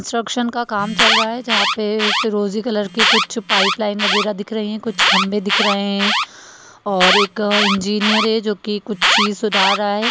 का काम चल रहा है जहाँ पे फिरोजी कलर के कुछ पाइपलाइन वागेरा दिख रही हैं कुछ खंबे दिख रहे हैं और एक इंजीनियर है जो कि कुछ चीज सुधार रहा है।